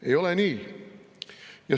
Ei ole nii!